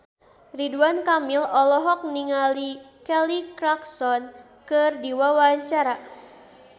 Ridwan Kamil olohok ningali Kelly Clarkson keur diwawancara